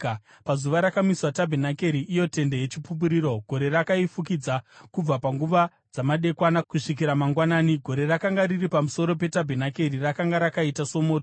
Pazuva rakamiswa tabhenakeri, iyo Tende yeChipupuriro, gore rakaifukidza. Kubva panguva dzamadekwana kusvikira mangwanani, gore rakanga riri pamusoro petabhenakeri rakanga rakaita somoto.